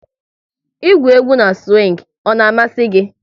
Ị gwụ egwú na siwing, ọ na-amasị gị?